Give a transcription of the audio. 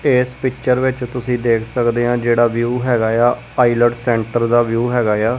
ਇਸ ਪਿੱਚਰ ਵਿੱਚ ਤੁਸੀ ਦੇਖ ਸਕਦੇ ਹਾਂ ਜਿਹੜਾ ਵਿਊ ਹੈਗਾ ਆ ਆਈਲੇਟਸ ਸੈਂਟਰ ਦਾ ਵਿਊ ਹੈਗਾ ਆ।